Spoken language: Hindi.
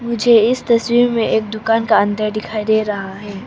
मुझे इस तस्वीर में एक दुकान का अंदर दिखाई दे रहा है।